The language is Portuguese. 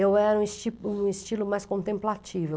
Eu era um esti, um estilo mais contemplativo.